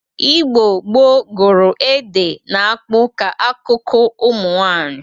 Igbo gboo gụrụ ede na akpụ ka akụkụ ụmụ nwaanyị